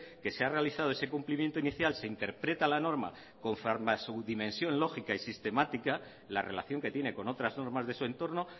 que se ha realizado ese cumplimiento inicial se interpreta la norma conforme a su dimensión lógica y sistemática la relación que tiene con otras normas de su entorne